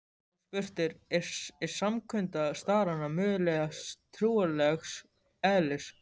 Og spurt er: er samkunda starrana mögulega trúarlegs eðlis?